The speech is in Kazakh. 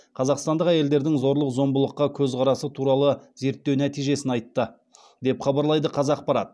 қазақстандық әйелдердің зорлық зомбылыққа көзқарасы туралы зерттеу нәтижесін айтты деп хабарлайды қазақпарат